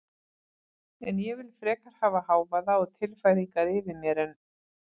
En ég vil frekar hafa hávaða og tilfæringar yfir mér en